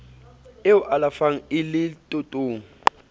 e o alafang e letotong